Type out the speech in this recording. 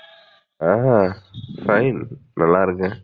ஆஹா fine. நல்லா இருக்கேன்.